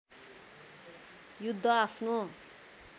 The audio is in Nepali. युद्ध आफ्नो